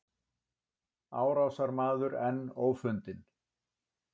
Árásarmaður enn ófundinn